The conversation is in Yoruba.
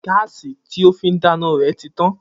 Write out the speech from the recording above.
Gáàsì tí ó fín dáná rẹ̀ ti tán